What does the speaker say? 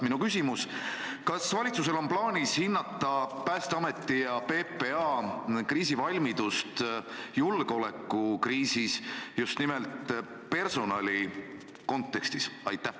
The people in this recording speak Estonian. Minu küsimus: kas valitsusel on plaanis hinnata Päästeameti ja PPA kriisivalmidust julgeolekukriisis just nimelt personali kontekstis?